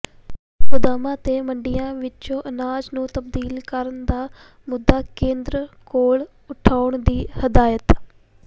ਗੋਦਾਮਾਂ ਤੇ ਮੰਡੀਆਂ ਵਿਚੋਂ ਅਨਾਜ ਨੂੰ ਤਬਦੀਲ ਕਰਨ ਦਾ ਮੁੱਦਾ ਕੇਂਦਰ ਕੋਲ ਉਠਾਉਣ ਦੀ ਹਦਾਇਤ